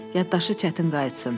Yaddaşı çətin qayıtsın.